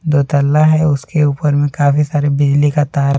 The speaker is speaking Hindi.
दो तल्ला है उसके ऊपर में काफी सारे बिजली का तार--